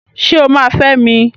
Ṣé o máa fẹ́ mi?